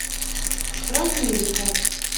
справмедика